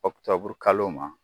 Ɔktɔburu kalo ma